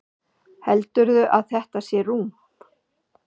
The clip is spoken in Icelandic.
Heldurðu að þetta sé rúm?